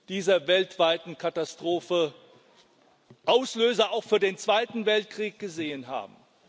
dieser weltweiten Katastrophe, Auslöser auch für den Zweiten Weltkrieg, gesehen haben.